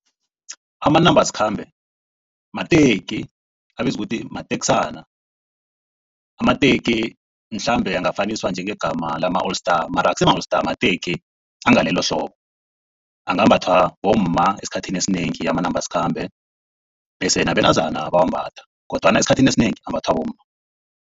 Amanambasikhambe mateki, abizwa ukuthi mateksana. Amateki mhlambe angafaniswa njengegama lama-All Star mara akusima-All Star mateki angalelohlobo. Angambathwa bomma esikhathini esinengi amanambasikhambe. Bese nabentazana bayawambatha kodwana esikhathini esinengi ambathwa bomma.